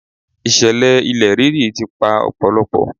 Ìṣẹ̀lẹ̀ ilẹ̀ rírì ti pa ọ̀pọ̀lọpọ̀.